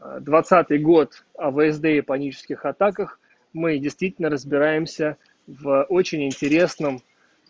а двадцатый год всд и панических атаках мы действительно разбираемся в очень интересном